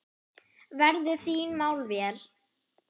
Verðu þín mál vel.